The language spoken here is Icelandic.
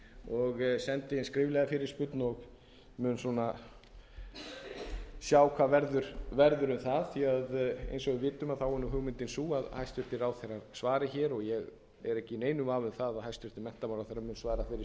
og sendi inn skriflega fyrirspurn og mun sjá hvað verður um það eins og við vitum er hugmyndin sú að hæstvirtir ráðherrar svari hér og ég er ekki í neinum vafa um það að hæstvirtur menntamálaráðherra mun þeirri spurningu